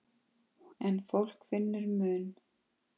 En fólk finnur mun.